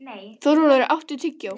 Þórólfur, áttu tyggjó?